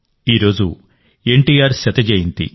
ఈరోజు ఎన్టీఆర్ 100వ జయంతి